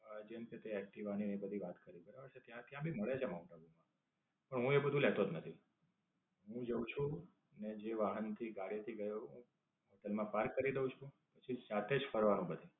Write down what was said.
જેમકે તે એક્ટિવા ની ને એ બધી વાત કરી બરાબર છે. ત્યાંથી આમ ભી મળી જાય માઉન્ટ આબુ માં. પણ હું એ બધું લેતો જ નથી. હું જાઉં છું અને જે વાહન થી ગાડી થી ગયો હોઉં તેમાં પાર્ક કરી દઉં છું. પછી સાથે જ ફરવાનું બધે.